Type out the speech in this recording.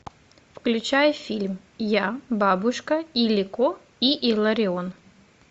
включай фильм я бабушка илико и илларион